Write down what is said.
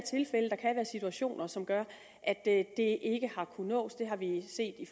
situationer som gør at det ikke har kunnet nås det har vi set i